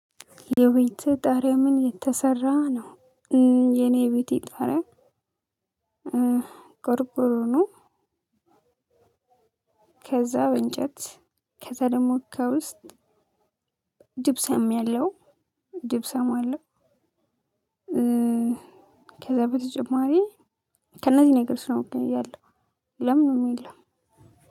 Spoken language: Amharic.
የቤትህ ጣሪያ ከምን የተሰራ ነው? የኔ የቤቴ ጣሪያ ቆርቆሮ ነው። ከዛ በእንጨት ከዛ ደግሞ ከውስጥ ጅብሰም ያለው፤ ጅብሰም አለው። ከዛ በተጨማሪ ከእነዚህ ነገሮች ነው በቃ ያለው ሌላ ምንም የለው።